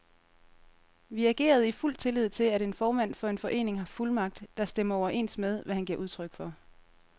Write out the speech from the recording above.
Vi agerede i fuld tillid til, at en formand for en forening har fuldmagt, der stemmer overens med, hvad han giver udtryk for.